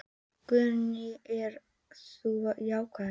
Guðný: Eru þau jákvæð?